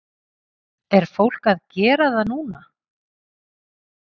Er fólk að gera það núna?